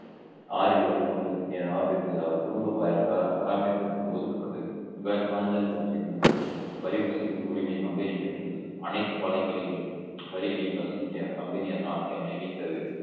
ஆறில் ஒரு பங்கு அவர் குடும்ப ப~ ப~ பராமரிப்பும் ஒதுக்கப்பட்டு இவ்வாறு பாஞ்சாலங்குறிச்சி இடமிட்டு வரி வசூலிக்கும் உரிமை company பெற்றிருந்தது அனைத்து பாளையங்களிலும் வரிளில் வசூலிக்க company யார் நாச்சியார் நியமித்தது